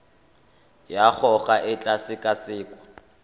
ya gago e tla sekasekwa